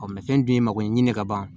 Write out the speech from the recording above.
fɛn dun ye mako ɲini ka ban